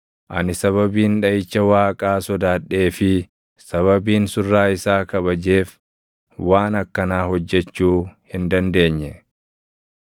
Ani sababiin dhaʼicha Waaqaa sodaadhee fi sababiin surraa isaa kabajeef waan akkanaa hojjechuu hin dandeenye.